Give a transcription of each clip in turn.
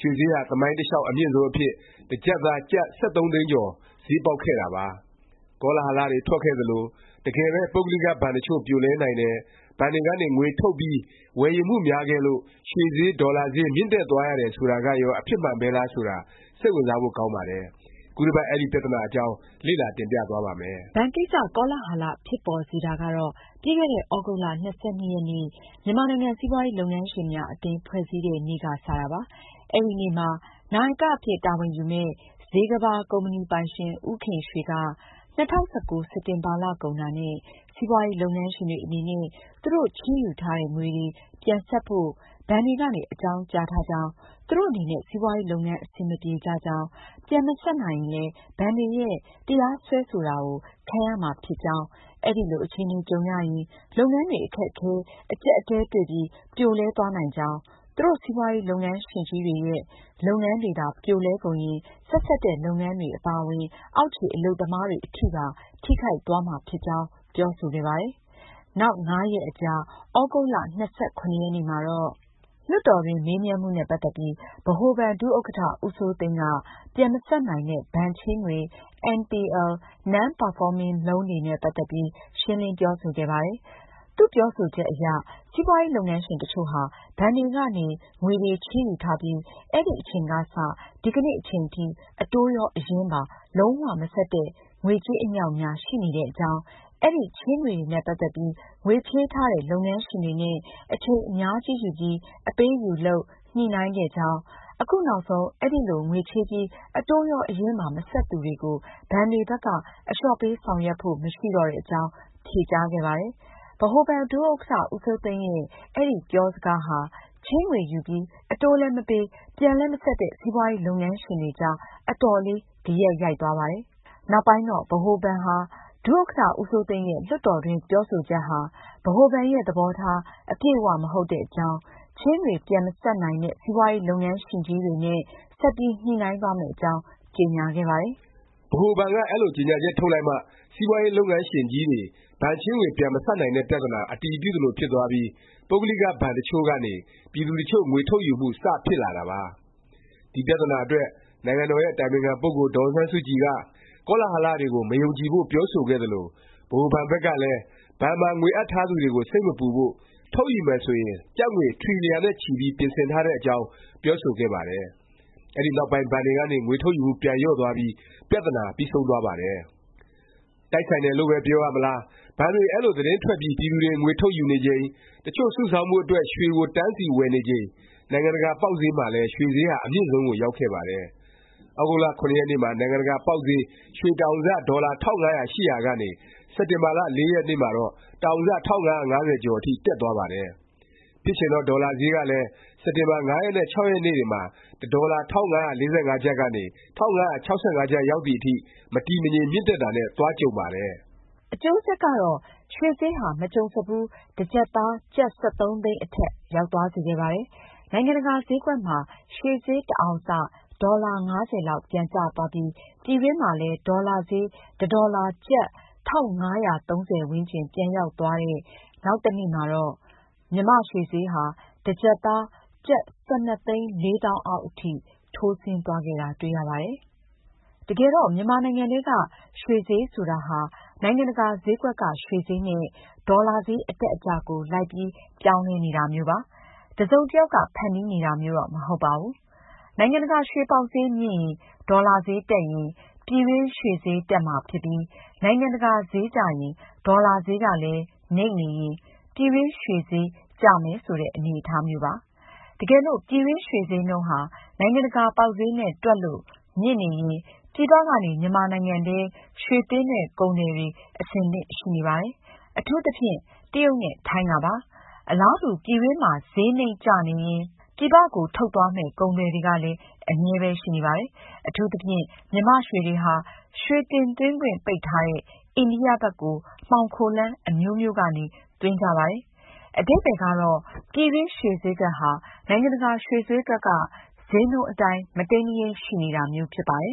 ရွှေဈေးဟာ သမိုင်းတလျောက် အမြင့်ဆုံးအဖြစ် တစ်ကျပ်သား ကျပ် ၁၃ သိန်းကျော် ဈေးပေါက်ခဲ့တာပါ။ ကောလာဟလတွေ ထွက်ခဲ့သလို၊ တကယ်ပဲ ပုဂ္ဂလိကဘဏ် တစ်ချို့ ပြိုလဲနိုင်တယ်၊ ဘဏ်တွေကနေ ငွေထုတ်ပြီး ဝယ်ယူမှုများခဲ့လို့ ရွှေဈေး၊ ဒေါ်လာဈေး မြင့်တက်သွားရတယ် ဆိုတာကရော အဖြစ်မှန်ပဲလား ဆိုတာ စိတ်ဝင်စားဖို့ ကောင်းပါတယ်။ ခုတစ်ပတ် အဲဒီ ပြသနာအကြောင်း လေ့လာ တင်ပြသွားပါ့မယ်။ ဘဏ်ကိစ္စ ကောလာဟလ ဖြစ်ပေါ်စေတာကတော့ ပြီးခဲ့တဲ့ သြဂုတ်လ ၂၂ ရက်နေ့ မြန်မာနိုင်ငံ စီးပွားရေး လုပ်ငန်းရှင်များ အသင်း ဖွဲ့စည်းတဲ့နေ့က စတာပါ။ အဲဒီနေ့မှာ နာယက အဖြစ်တာဝန်ယူမယ့် ဇေကမ္ဘာကုမ္ပဏီပိုင်ရှင် ဦးခင်ရွှေက ၂၀၁၉ စက်တင်ဘာ လကုန်တာနဲ့ စီးပွားရေး လုပ်ငန်းရှင်တွေ အနေနဲ့ သူတို့ချေးယူထားတဲ့ ငွေတွေ ပြန်ဆပ်ဖို့ ဘဏ်တွေကနေ အကြောင်းကြားထားကြောင်း၊ သူတို့အနေနဲ့ စီးပွားရေး လုပ်ငန်း အဆင်မပြေကြကြောင်း၊ ပြန်မဆပ်နိုင်ရင်လည်း ဘဏ်တွေရဲ့ တရားစွဲတာ ခံရမှာဖြစ်ကြောင်း၊ အဲလို အခြေအနေ ကြုံရရင် လုပ်ငန်းတွေ အခက်အခဲ အကြပ်အတည်းတွေ့ပြီး ပြိုလဲသွားနိုင်ကြောင်း၊ သူတို့ စီးပွားရေး လုပ်ငန်းရှင်ကြီးတွေရဲ့ လုပ်ငန်းတွေသာ ပြိုလဲကုန်ရင် ဆက်စပ်တဲ့ လုပ်ငန်းတွေ အပါအဝင် အောက်ခြေ အလုပ်သမားတွေ အထိပါ ထိခိုက်သွားမှာဖြစ်ကြောင်း ပြောဆိုခဲ့ပါတယ်။ နောက် ၅ ရက်အကြာ သြဂုတ်လ ၂၇ ရက်နေ့မှာတော့ လွှတ်တော်တွင်း မေးမြန်းမှုနဲ့ ပတ်သက်ပြီး ဗဟိုဘဏ် ဒုဥက္ကဌ ဦးစိုးသိန်းက ပြန်မဆပ်နိုင်တဲ့ ဘဏ်ချေးငွေ NPL, Non performing Loan တွေနဲ့ ပတ်သက်ပြီး ရှင်းလင်းပြောဆိုခဲ့ပါတယ်။ သူ့ပြောဆိုချက်အရ စီးပွားရေး လုပ်ငန်းရှင် တစ်ချို့ဟာ ဘဏ်တွေကနေ ငွေတွေ ချေးယူထားပြီး အဲဒီအချိန်ကစ ဒီကနေ့ အချိန်ထိ အတိုးရော၊ အရင်းပါ လုံး၀ မဆပ်တဲ့ ငွေကြေး အမြောက်အများ ရှိနေတဲ့အကြောင်း၊ အဲဒီချေးငွေတွေနဲ့ ပတ်သက်ပြီး ငွေချေးထားတဲ့ လုပ်ငန်းရှင်တွေနဲ့ အချိန်အများကြီးယူပြီး အပေးအယူလုပ် ညှိနှိုင်းခဲ့ကြောင်း၊ အခုနောက်ဆုံး အဲဒီလို ငွေချေးပြီး အတိုးရော အရင်းပါ မဆပ်သူတွေကို ဘဏ်တွေဘက်က အလျော့ပေး ဆောင်ရွက်ဖို့ မရှိတော့တဲ့အကြောင်း ဖြေကြားခဲ့ပါတယ်။ ဗဟိုဘဏ် ဒုဥက္ကဌ ဦးစိုးသိန်းရဲ့ အဲဒီ ပြောစကားဟာ ချေးငွေယူပြီး အတိုးလည်း မပေး၊ ပြန်လည်း မဆပ်တဲ့ စီးပွားရေး လုပ်ငန်းရှင်တွေကြား အတော်လေး ဂယက်ရိုက်သွားပါတယ်။ နောက်ပိုင်းတော့ ဗဟိုဘဏ်ဟာ ဒုဥက္ကဌ ဦးစိုးသိန်းရဲ့ လွှတ်တော်တွင်း ပြောဆိုချက်ဟာ ဗဟိုဘဏ်ရဲ့ သဘောထား အပြည့်အ၀ မဟုတ်တဲ့အကြောင်း၊ ချေးငွေ ပြန်မဆပ်နိုင်တဲ့ စီးပွားရေး လုပ်ငန်းရှင်ကြီးတွေနဲ့ ဆက်ပြီး ညှိနှိုင်းသွားမယ့်အကြောင်း ကြေငြာခဲ့ပါတယ်။ ဗဟိုဘဏ်က အဲလို ကြေငြာချက်ထုတ်လိုက်မှ စီးပွားရေး လုပ်ငန်းရှင်ကြီးတွေ ဘဏ်ချေးငွေ ပြန်မဆပ်နိုင်တဲ့ ပြသနာ အတည်ပြုသလို ဖြစ်သွားပြီး ပုဂ္ဂလိက ဘဏ်တစ်ချို့ကနေ ပြည်သူတစ်ချို့ ငွေထုတ်ယူမှု စ ဖြစ်လာတာပါ။ ဒီ ပြသနာအတွက် နိုင်ငံတော်ရဲ့ အတိုင်ပင်ခံ ပုဂ္ဂိုလ် ဒေါ်အောင်ဆန်းစုကြည်က ကောလာဟလ တွေကို မယုံကြည်ဖို့ ပြောဆိုခဲ့သလို၊ ဗဟိုဘဏ်ဘက်ကလည်း ဘဏ်မှာ ငွေအပ်ထားသူတွေကို စိတ်မပူဖို့၊ ထုတ်ယူမယ် ဆိုရင် ကျပ်ငွေ ထရီလျံနဲ့ချီပြီး ပြင်ဆင်ထားတဲ့အကြောင်း ပြောဆိုခဲ့ပါတယ်။ အဲဒီနောက်ပိုင်း ဘဏ်ကနေ ငွေထုတ်ယူမှု ပြန်လျော့သွားပြီး ပြသနာ ပြီးဆုံးသွားပါတယ်။ တိုက်ဆိုင်တယ်လို့ပဲ ပြောရမလား၊ ဘဏ်တွေ အဲလို သတင်းထွက်ပြီး ပြည်သူတွေ ငွေထုတ်ယူနေချိန်၊ တစ်ချို့ စုဆောင်းဖို့ အတွက် ရွှေကို တန်းစီ ဝယ်နေချိန် နိုင်ငံတကာ ပေါက်ဈေးမှာလည်း ရွှေဈေးဟာ အမြင့်ဆုံးကို ရောက်ခဲ့ပါတယ်။ သြဂုတ်လ ၇ ရက်နေ့မှာ နိုင်ငံတကာ ပေါက်ဈေး ရွှေတစ်အောင်စ ဒေါ်လာ ၁၅၀၀ ရှိနေရာကနေ စက်တင်ဘာ ၄ ရက်နေ့မှာတော့ တစ်အောင်စ ၁၅၅၀ ကျော်အထိ တက်သွားပါတယ်။ ဖြစ်ချင်တော့ ဒေါ်လာဈေးကလည်း စက်တင်ဘာ ၅ ရက်နဲ့ ၆ ရက်နေ့တွေမှာ တစ်ဒေါ်လာ ၁၅၄၅ ကနေ ၁၅၆၅ ကျပ် ရောက်သည်အထိ မတည်မငြိမ် မြင့်တက်တာနဲ့ သွားကြုံပါတယ်။ အကျိုးဆက်ကတော့ ရွှေဈေးဟာ မကြုံစဖူး တစ်ကျပ်သား ကျပ် ၁၃ သိန်းအထက် ရောက်သွားစေခဲ့ပါတယ်။ နိုင်ငံတကာ ဈေးကွက်မှာ ရွှေဈေး တစ်အောင်စ ဒေါ်လာ ၅၀ လောက် ပြန်ကျသွားပြီး ပြည်တွင်းမှာလည်း ဒေါ်လာဈေး တစ်ဒေါ်လာ ကျပ် ၁၅၃၀ ဝန်းကျင် ပြန်ရောက်သွားတဲ့ နောက်တစ်နေ့မှာတော့ မြန်မာ့ရွှေဈေးဟာ တစ်ကျပ်သား ကျပ် ၁၂ သိန်း ၄ သောင်းအောက် အထိ ထိုးဆင်းသွားခဲ့တာ တွေ့ရပါတယ်။ တကယ်တော့ မြန်မာနိုင်ငံထဲက ရွှေဈေး ဆိုတာဟာ နိုင်ငံတကာ ဈေးကွက်က ရွှေဈေးနဲ့ ဒေါ်လာဈေး အတက်အကျကို လိုက်ပြီး ပြောင်းလဲနေတာမျိုးပါ။ တစ်စုံတစ်ယောက်က ဖန်တီးနေတာမျိုးတော့ မဟုတ်ပါဘူး။ နိုင်ငံတကာ ရွှေပေါက်ဈေး မြင့်ရင်၊ ဒေါ်လာဈေး တက်ရင် ပြည်တွင်း ရွှေဈေး တက်မှာဖြစ်ပြီး နိုင်ငံတကာဈေး ကျရင်၊ ဒေါ်လာဈေးကလည်း နိမ့်နေရင် ပြည်တွင်း ရွှေဈေးကျမယ် ဆိုတဲ့ အနေအထားမျိုးပါ။ တကယ်လို့ ပြည်တွင်း ရွှေဈေးနှုန်းဟာ နိုင်ငံတကာ ပေါက်ဈေးနဲ့ တွက်လို့ မြင့်နေရင် ပြည်ပကနေ မြန်မာနိုင်ငံထဲ ရွှေသွင်းတဲ့ ကုန်သည်တွေ အဆင်သင့် ရှိနေပါတယ်။ အထူးသဖြင့် တရုတ်နဲ့ ထိုင်းကပါ။ အလားတူ ပြည်တွင်းမှာ ဈေးနိမ့်နေရင် ပြည်ပကို ထုတ်သွားမယ့် ကုန်သည်တွေကလည်း အမြဲပဲ ရှိနေပါတယ်။ အထူးသဖြင့် မြန်မာ့ရွှေတွေဟာ ရွှေတင်သွင်းခွင့် ပိတ်ထားတဲ့ အိန္ဒိယ ဘက်ကို မှောင်ခိုလမ်း အမျိုးမျိုးကနေ သွင်းကြပါတယ်။ အဓိပ္ပါယ်ကတော့ ပြည်တွင်းရွှေဈေးကွက်ဟာ နိုင်ငံတကာ ရွှေဈေးကွက်က ဈေးနှုန်းအတိုင်း မတိမ်းမယိမ်း ရှိနေတာမျိုးပါ။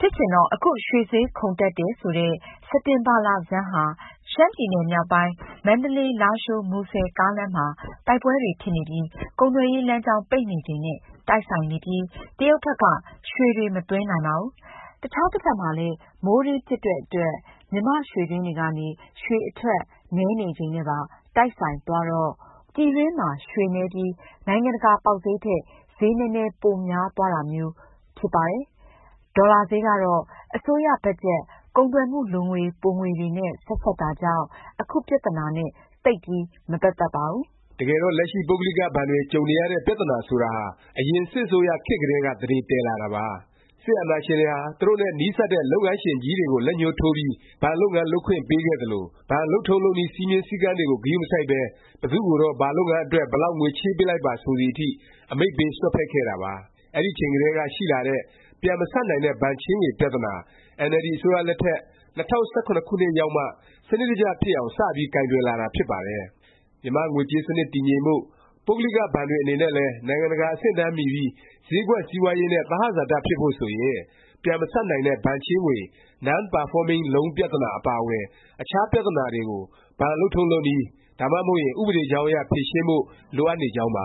ဖြစ်ချင်တော့ အခု ရွှေဈေးခုန်တက်တယ် ဆိုတဲ့ စက်တင်ဘာ လဆန်းဟာ ရှမ်းပြည်နယ် မြောက်ပိုင်း မန္တလေး- လားရှိုး- မူဆယ် ကားလမ်းမှာ တိုက်ပွဲတွေ ဖြစ်နေပြီး ကုန်သွယ်ရေး လမ်းကြောင်း ပိတ်နေချိန်နဲ့ တိုက်ဆိုင်နေပြီး တရုတ်ဘက်က ရွှေတွေ မသွင်းနိုင်ပါဘူး။ အခြားတစ်ဖက်မှာလည်း မိုးတွင်းဖြစ်တဲ့အတွက် မြန်မာ့ရွှေတွင်းတွေကနေ ရွှေအထွက်နည်းနေချိန်နဲ့ပါ တိုက်ဆိုင်သွားတော့ ဝယ်လိုအားထက် ပြည်တွင်းမှာ ရွှေနည်းပြီး နိုင်ငံတကာ ပေါက်ဈေးထက် ဈေး နည်းနည်း ပိုများသွားတာမျိုးပဲ ဖြစ်ပါတယ်။ ဒေါ်လာဈေးကတော့ အစိုးရဘတ်ဂျက်၊ ကုန်သွယ်မှု လိုငွေပိုငွေတွေနဲ့ ဆက်စပ်တာကြောင့် အခုပြသနာနဲ့ သိပ်ပြီး မပတ်သက်ပါဘူး။ တကယ်တော့ လက်ရှိ ပုဂ္ဂလိက ဘဏ်တွေ ကြုံနေရတဲ့ ပြသနာ ဆိုတာဟာ အရင် စစ်အစိုးရခေတ်ကတည်းက သန္ဓေတည်လာတာပါ။ စစ်အာဏာရှင်တွေဟာ သူတို့နဲ့ နီးစပ်တဲ့ လုပ်ငန်းရှင်ကြီးတွေကို လက်ညှိုးထိုးပြီး ဘဏ်လုပ်ငန်း လုပ်ခွင့် ပေးခဲ့သလို၊ ဘဏ်လုပ်ထုံး လုပ်နည်း၊ စည်းမျဉ်းစည်းကမ်းတွေကို ဂရုမစိုက်ပဲ ဘယ်သူ့ကိုတော့ ဘာလုပ်ငန်းအတွက် ဘယ်လောက် ငွေချေးပေးလိုက်ပါ ဆိုသည်အထိ အမိန့်ပေး စွက်ဖက်ခဲ့တာပါ။ အဲဒီအချိန်ကတည်းက ရှိလာတဲ့ ပြန်မဆပ်နိုင်တဲ့ ဘဏ်ချေးငွေ ပြသနာ အင်န်အယ်လ်ဒီ အစိုးရလက်ထက် ၂၀၁၇ ခုနှစ်ရောက်မှ စနစ်တကျ ဖြစ်အောင် စပြီး ကိုင်တွယ် လာတာ ဖြစ်ပါတယ်။ မြန်မာ့ ငွေကြေးစနစ် တည်ငြိမ်ဖို့၊ ပုဂ္ဂလိက ဘဏ်တွေ အနေနဲ့လည်း နိုင်ငံတကာ အဆင့်အတန်းမီပြီး ဈေးကွက် စီးပွားရေးနဲ့ သဟဇာတ ဖြစ်ဖို့ ဆိုရင် ပြန်မဆပ်နိုင်တဲ့ ဘဏ်ချေးငွေ Non performing Loan ပြသနာ အပါအဝင် အခြား ပြသနာတွေကို ဘဏ်လုပ်ထုံးလုပ်နည်း၊ ဒါမှမဟုတ်ရင် ဥပဒေကြောင်းအရ ဖြေရှင်းဖို့ လိုအပ်နေကြောင်းပ